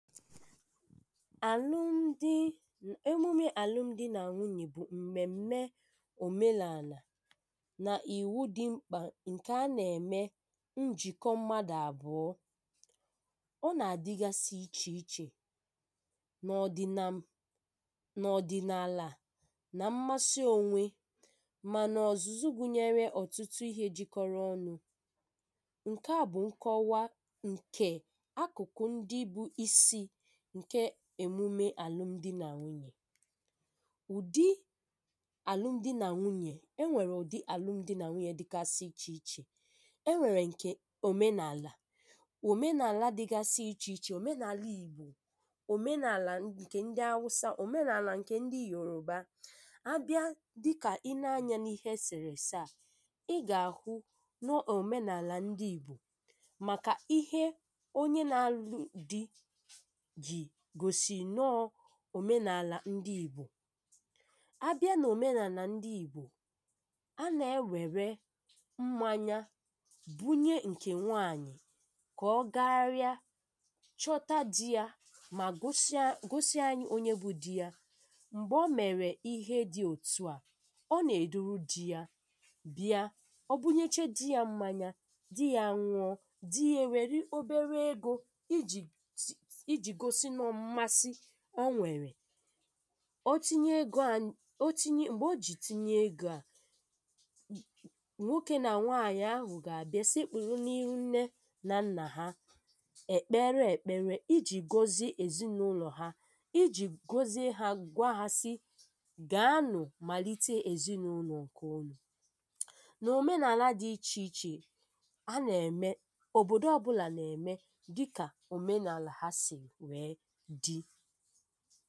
àlụ́m̀dì̇, emùmè àlụ́m̀dì̇ nà nwúnỵè bụ̀ m̀mèm̀me òmenàlà nà ìwu dị mkpà nke a nà-ème njìkọ mmadụ̀ àbụ̀ọ ọ nà-àdịgasị iche-iche nà odinàalà nà ḿmásị́ ónwé mànà ọ̀zụ̀zụ̀ gụ̀nyere ọ̀tụtụ ihe jikọrọ ọnụ̇ ǹkè a bụ̀ nkọ̀wa ǹkè akùkọ̀ ndị bụ̀ isi ǹkè emùmè àlụ́m̀dì̇ nà nwúnỵè. Ụ̀dị̇ àlụ́m̀dì̇ nà nwúnỵè e nwèrè, ụ̀dị̇ àlụ́m̀dì̇ nà nwúnỵè dịgasị iche-iche. E nwèrè ǹkè òmenàlà, òmenàlà dịgasị iche-iche: òmenàlà Ìgbò, òmenàlà ǹkè ndị Hausa, òmenàlà ǹkè ndị Yòrùbá. A bịa dịkà i nèe anyȧ n’ìhé esèrè-èsè a, ì gà-àhụ́ na ọ bụ̀ òmenàlà ndị Ìgbò, màkà ìhé onye nà-àlụ́ dì ji gosi na ọ bụ̀ òmenàlà ndị Ìgbò. A bịa nà òmenàlà ndị Ìgbò, a nà-ewèrè mmáńyà bùnye nkè nwáànyị̀ kà ọ gàgáharịa, chọ̀ọ dì ya mà gosi anyị onye bụ̀ dì ya. M̀gbè ọ mèrè ìhé dị òtù a, ọ nà-èdùrú dì ya bịa, ọ bùnyechà dì ya mmáńyà, dì ya nùọ, dì ya wèrè obere egò iji gosi ǹmàsị́ o nwèrè. Ọ tìnye egò à, ọ tìnye. M̀gbè o jì tìnye egò à, nwokè nà nwáànyị̀ ahụ̀ gà-àbịa sekpùrú n’ìhú̇ nne nà nnà ha, è kpere èkpèrè, ì jì gòzie èzinụlọ̀ ha, ì jì gòzie hȧ, gwà hȧ sị gà-ànụ̀ màlite èzinụlọ̀ ǹkè ụ̀nụ. Nà òmenàlà dị̇ iche-iche, a nà-ème. Òbòdo ọbụ́là nà-ème dịkà òmenàlà ha sì wee dị.